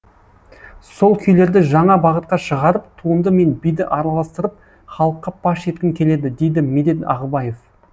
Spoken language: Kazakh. сол күйлерді жаңа бағытқа шығарып туынды мен биді араластырып халыққа паш еткім келеді дейді медет ағыбаев